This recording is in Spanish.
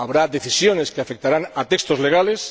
habrá decisiones que afectarán a textos legales.